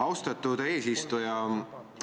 Austatud eesistuja!